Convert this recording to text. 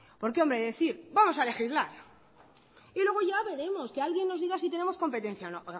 porque hombre decir vamos a legislar y luego ya veremos que alguien nos diga si tenemos competencia o no oiga